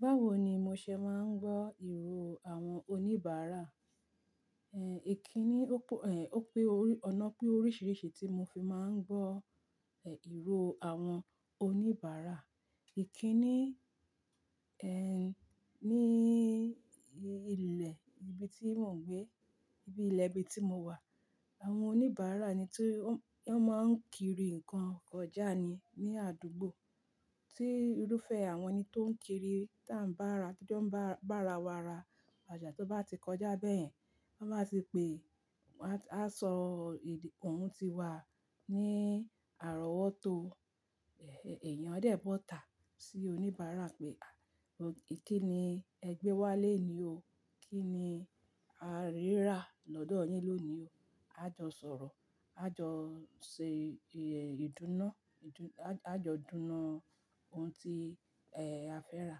Báwo ni mo ṣe máa ń gbọ́ ìró àwọn oníbàárà? Ehn, ìkíni ó pò-- ehn, ó pé orí-- ọ̀nà pé oríṣìíríṣìí tí mo fi máa ń gbọ́, ehn, ìró àwọn oníbàárà. Ìkíni, ehn, ní ilẹ̀ ibi tí mò ń gbé, ibi ilẹ̀ ibi tí mo wà, àwọn oníbàárà eni tó, wọ́n máa ń kiri nǹkan kọjà ni ní àdúgbò. Tí irúfẹ́ àwọn ẹni tó ń kiri tá n bàárà, tí o n bá, bá ara wa ra ọjà, tó bá ti kọjá bẹ́ẹ̀, wọ́n máa ti pe, wọ́n á, á sọ ìdí ohun tí wa ní àrọ́wọ́tó. Ehn, èèyàn á dẹ̀ bọ́ta sí oníbàárà pé, àh, kí ni ẹ gbé wálé ní o? Kí ni a rí ra lọ́dọ̀ yin lónìí o? Á jọ sọ̀rọ̀. Á jọ ṣe, ehn, ìdúná, idunaá, á jọ dúná ohun tí, ehn, a fẹ́ rà,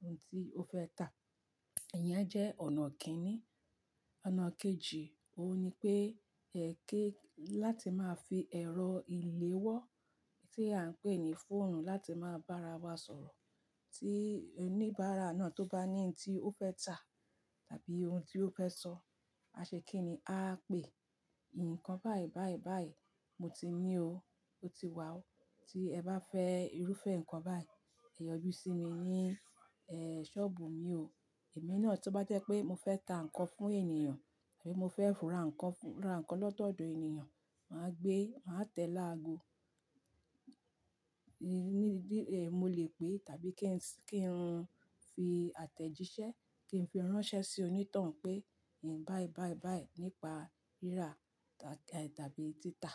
ohun tí ó fẹ́ tà." iyẹn jẹ́ ọ̀nà kínní. Ọ̀nà kejì, òun ni pé, ẹ kí, láti máa fi ẹ̀rọ ìléwọ́ tí à ń pè ní fóònù láti máa bá ara wa sọ̀rọ̀. Tí oníbàárà náà tó bá nti ohun tí ó fẹ́ tà tàbí ohun tí ó fẹ́ sọ, a ṣe kíni, a á pè, "nǹkan báyìí, báyìí, báyìí mo ti ní o, ó ti wá o. Tí ẹ bá fẹ́ irúfẹ́ nǹkan báyìí, ẹ yọjú sí mi ní, ehn, sọ́ọ̀bù mi o." ẹ̀mí náà tó bá jẹ́ pé mo fẹ́ ta nǹkan fún ènìyàn tàbí mo fẹ́ ra nǹkan fún, ra nǹkan lọ́dọ̀ ènìyàn, màá gbé, màá tẹ̀ laago. Mo lè pè tàbí kí n sì, kí n fi àtẹ̀jíṣẹ́, kí n fi ránṣẹ́ sí onítàn pé, "nǹkan báyìí, báyìí, báyìí" nípa ríra tàbí, tàbí títa.